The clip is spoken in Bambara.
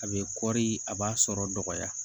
A bɛ kɔri a b'a sɔrɔ dɔgɔya